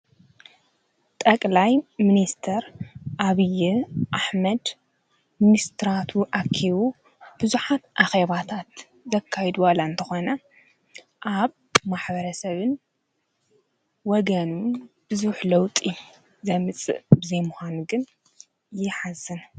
ጠቅላይ ሚኒስተር ዓብዪ ኣሕመድ ሚኒስትራቱ ኣኪቡ ብዙሓት ኣኼባታት ዘካይድ ዋላ እንተኾነ ኣብ ማሕበረሰብን ወገንን ብዙሕ ለውጢ ዘምፅእ ብዘይሙዃኑ ግን ይሓዝን።